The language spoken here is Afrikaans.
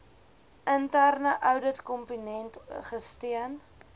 interne ouditkomponent gesteun